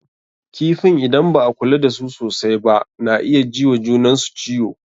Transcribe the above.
Kifin idan ba a kula da su sosai ba na iya ji wa junan su ciwo.